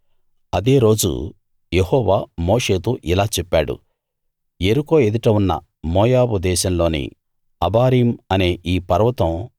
అదే రోజు యెహోవా మోషేతో ఇలా చెప్పాడు యెరికో ఎదుట ఉన్న మోయాబు దేశంలోని అబారీం అనే ఈ పర్వతం